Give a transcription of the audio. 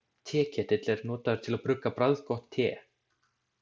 Teketill er notaður til að brugga bragðgott te.